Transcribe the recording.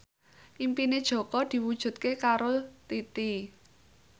impine Jaka diwujudke karo Titi